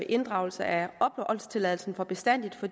inddragelse af opholdstilladelsen for bestandig for